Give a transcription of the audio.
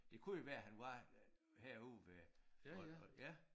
Det kunne jo være han var herude ved og og ja